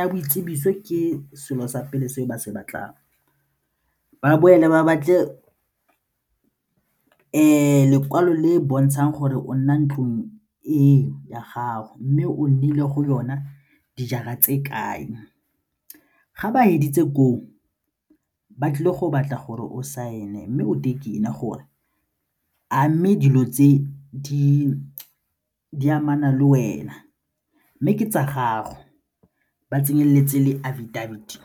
ya boitsibiso ke selo sa pele se ba se batlang, ba boela ba batle lekwalo le bontshang gore o nna ntlong eo ya gago mme o nnile go yona dijara tse kae. Ga ba feditse koo ba tlile go batla gore o saene mme gore a mme dilo tse di amana le wena mme ke tsa gago ba tsenelele tse le affidavit.